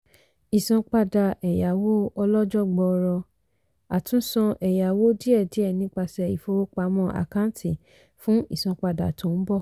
ìsanpadà ẹ̀yáwó ọlọ́jọ́ gbọọrọ - àtúsan ẹ̀yáwó díẹ̀díẹ̀ nipasẹ̀ ìfowópamọ́ àkáǹtì fún ìsanpadà tó ń bọ̀.